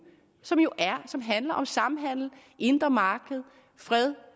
som jo handler om samhandel indre marked fred